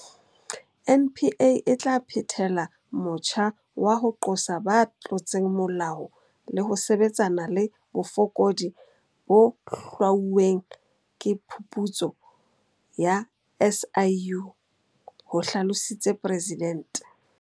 NPA e tla phethela motjha wa ho qosa ba tlotseng molao le ho sebetsana le bofokodi bo hlwauweng ke phuputso ya SIU, ho hlalositse Presidente.